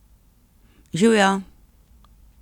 Živjo!